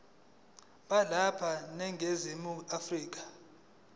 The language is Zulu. balapha eningizimu afrika